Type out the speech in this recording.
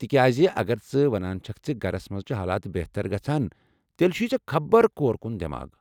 تِکیٚاز، اگر ژٕ ونان چھکھ ز گھرس منز چھ حالات بہتر گژھان، تیٚلہ چھوٗیہ ژے٘ خبر کور كٗن دٮ۪ماغ۔